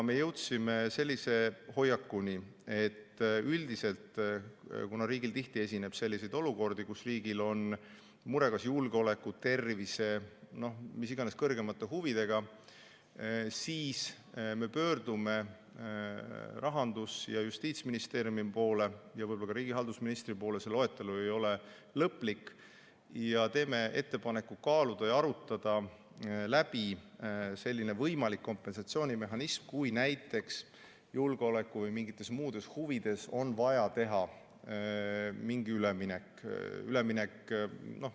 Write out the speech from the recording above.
Me jõudsime sellise hoiakuni, et üldiselt, kuna riigil tihti esineb selliseid olukordi, kus riigil on mure kas julgeoleku, tervise või mis iganes kõrgemate huvidega, siis me pöördume Rahandusministeeriumi ja Justiitsministeeriumi poole ja võib-olla ka riigihalduse ministri poole – see loetelu ei ole lõplik – ja teeme ettepaneku kaaluda ja arutada läbi selline kompensatsioonimehhanism, kui näiteks julgeoleku või mingites muudes huvides on vaja teha mingi üleminek.